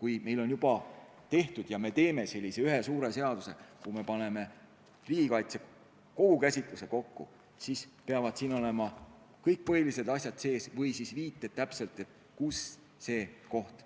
Kui meil on suur töö juba tehtud ja me teeme sellise ühe mahuka seaduse, kui me paneme riigikaitse kogu käsitluse kokku, siis peavad siin olema kõik põhilised asjad sees, kaasa arvatud viited, kus teatud koht